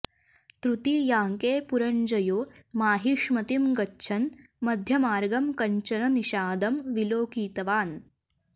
तृतीयाङ्के पुरञ्जयो माहिष्मतीं गच्छन् मध्यमार्गं कञ्चन निषादं विलोकितवान्